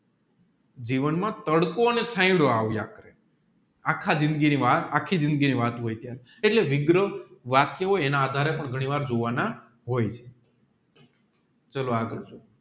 જીવન માં તડકો છાંયડો આવ્યા કરે અખા જીંદગી ની વાત આખા જીંદગી ની વાત હોય ત્યારે એટલે વિગ્રહ એના આધારે પણ ઘણી વાર પ્રકાર ના હોય છે ચાલો આગળ